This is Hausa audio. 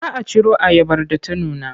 Za a ciro ayabar da ta nuna.